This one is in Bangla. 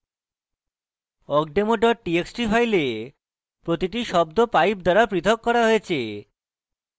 awkdemo ডট txt file প্রতিটি শব্দ pipe দ্বারা প্রথক করা হয়েছে